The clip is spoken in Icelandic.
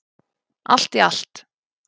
Allt í allt.